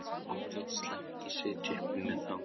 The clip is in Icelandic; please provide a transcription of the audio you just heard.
Okkur þótti slæmt að sitja uppi með þá um kvöldið.